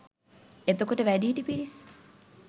එතකොට වැඩිහිටි පිරිස්